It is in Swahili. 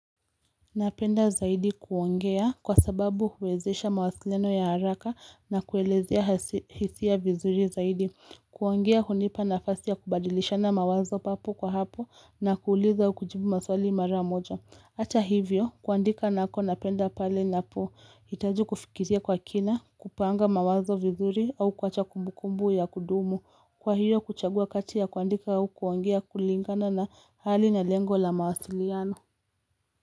Napenda zaidi kuongea kwa sababu huwezesha mawasiliano ya haraka na kuelezea hisia vizuri zaidi kuongea hunipa nafasi ya kubadilisha na mawazo papo kwa hapo na kuuliza au kujibu maswali mara moja Hata hivyo kuandika nako napenda pale na po itaji kufikiria kwa kina kupanga mawazo vizuri au kuacha kumbukumbu ya kudumu Kwa hiyo kuchagua kati ya kuandika au kuongea kulingana na hali na lengo la mawasiliano.